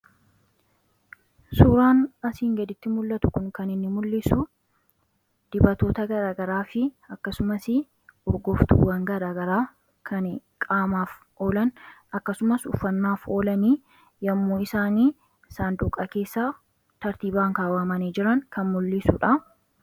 Suuraan asiin gaditti mul'atu kun kan inni mul'isu dibatoota garaagaraati. Akkasumas kanneen biroos kan qaamaaf oolan akkasumas dibannaaf oolan yoommuu isaan saanduqa keessa tartiibaan kaawwamanii jiran kan mul'isudha.